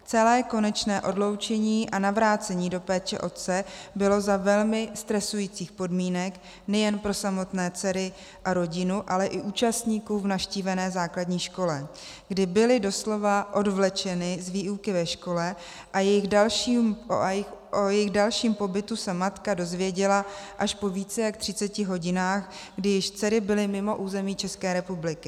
Celé konečné odloučení a navrácení do péče otce bylo za velmi stresujících podmínek nejen pro samotné dcery a rodinu, ale i účastníků v navštívené základní škole, kdy byly doslova odvlečeny z výuky ve škole, a o jejich dalším pobytu se matka dozvěděla až po více jak třiceti hodinách, kdy již dcery byly mimo území České republiky.